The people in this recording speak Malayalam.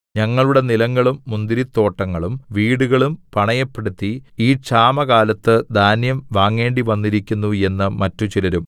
ഞങ്ങളുടെ നിലങ്ങളും മുന്തിരിത്തോട്ടങ്ങളും വീടുകളും പണയപ്പെടുത്തി ഈ ക്ഷാമകാലത്ത് ധാന്യം വാങ്ങേണ്ടിവന്നിരിക്കുന്നു എന്ന് മറ്റുചിലരും